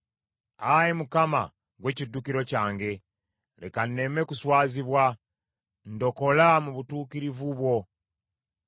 Ayi Mukama , ggwe kiddukiro kyange, leka nneme kuswazibwa. Ndokola mu butuukirivu bwo.